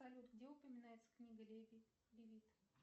салют где упоминается книга лилит